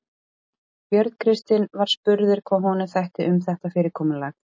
Björn Kristinn var spurður hvað honum þætti um þetta fyrirkomulag?